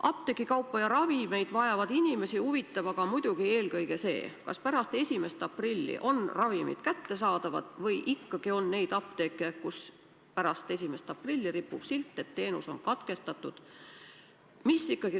Ravimeid ja muud apteegikaupa vajavaid inimesi huvitab aga muidugi eelkõige see, kas pärast 1. aprilli on ravimid kättesaadavad või ikkagi on neid apteeke, kus pärast 1. aprilli ripub silt, et teenus on katkestatud.